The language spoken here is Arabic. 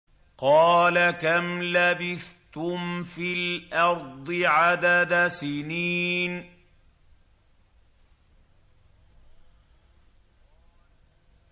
قَالَ كَمْ لَبِثْتُمْ فِي الْأَرْضِ عَدَدَ سِنِينَ